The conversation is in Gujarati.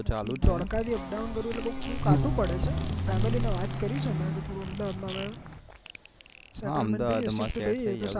તો ચાલુ ત્યાં ધોળકા થી up down કરું એટલે કાઠું પડે છે family ને વાત કરી છે